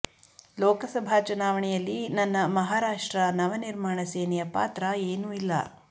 ಲೋಕಸಭಾ ಚುನಾವಣೆಯಲ್ಲಿ ನನ್ನ ಮಹಾರಾಷ್ಟ್ರ ನವನಿರ್ಮಾಣ ಸೇನೆಯ ಪಾತ್ರ ಏನೂ ಇಲ್ಲ